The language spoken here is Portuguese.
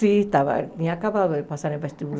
Sim, estava tinha acabado de passar no